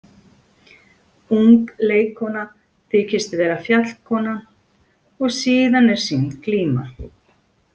Ung leikkona þykist vera fjallkonan og síðan er sýnd glíma.